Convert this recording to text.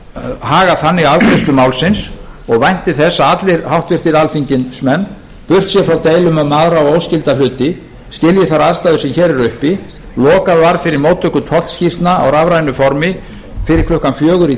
að haga þannig afgreiðslu málsins og vænti þess að allir háttvirtir alþingismenn burt séð frá deilum um aðra og óskylda hluti skilji þær aðstæður sem hér eru uppi lokað var fyrir móttöku tollskýrslna á rafrænu formi fyrir klukkan fjögur í